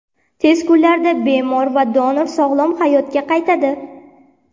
Tez kunlarda bemor va donor sog‘lom hayotga qaytadi.